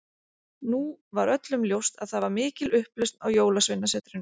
Nú var öllum ljóst að það var mikil upplausn á jólasveinasetrinu.